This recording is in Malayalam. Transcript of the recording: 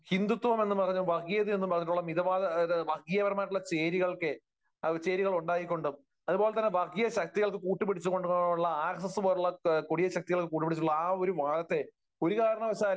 ഹിന്ദുത്വം, എന്ന് പറഞ്ഞിട്ടുള്ള, വർഗീയ എന്ന് പറഞ്ഞിട്ടുള്ള, മിതവാദം, വർഗീയപരമായിട്ടുള്ള ചേരികളൊക്കെ ആ ചേരികൾ ഉണ്ടാക്കിക്കൊണ്ടും അതുപോലെ വർഗീയ ശക്തികൾക്ക് കൂട്ടുപിടിച്ചുകൊണ്ടും ഉള്ള ആർഎസ്എസ് പോലുള്ള വർഗീയ ശക്തികൾക്ക് കൂട്ടുപിടിച്ചുകൊണ്ടുള്ള ആ ഒരു വാദത്തെ ഒരു കാരണവശാലും